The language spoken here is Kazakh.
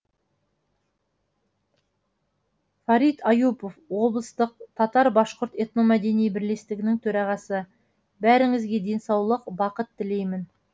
фарит аюпов облыстық татар башқұрт этномәдени бірлестігінің төрағасы бәріңізге денсаулық бақыт тілеймін